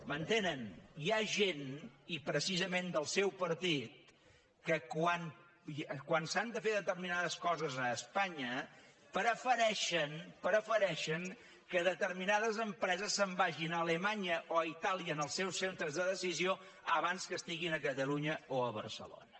m’entenen hi ha gent i precisament del seu partit que quan s’han de fer determinades coses a espanya prefereixen que determinades empreses se’n vagin a alemanya o a itàlia en els seus centres de decisió abans que estiguin a catalunya o a barcelona